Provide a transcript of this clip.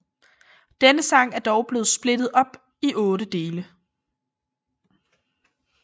Denne sang er dog blevet splittet op i otte dele